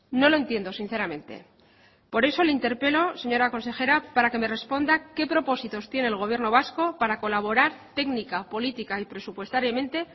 no lo entiendo sinceramente por eso le interpelo señora consejera para que me responda qué propósitos tiene el gobierno vasco para colaborar técnica política y presupuestariamente